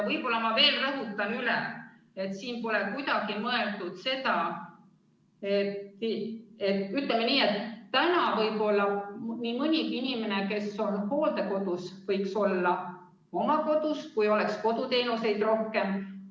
Võib-olla ma rõhutan veel kord üle, et nii mõnigi inimene, kes on praegu hooldekodus, võiks olla oma kodus, kui koduteenuseid oleks rohkem.